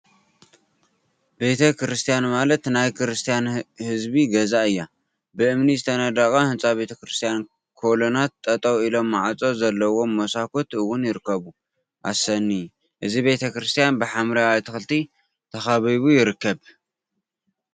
ቤተ ክርስትያን ማለት ናይ ክርስትያን ህዝቢ ገዛ እያ፡፡ ብእምኒ ዝተነደቀ ህንፃ ቤተ ክርስትያን ኮሎናት ጠጠወ ኢሎም ማዕፆ ዘለዎም መሳኩቲ እውን ይርከቡ፡፡ አሰኒ! እዚ ቤተ ክርስትያን ብሓምለዋይ አትክልቲ ተከቢቡ ይርከብ፡፡